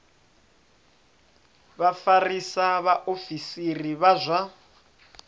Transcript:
vha vhafarisa vhaofisiri vha zwa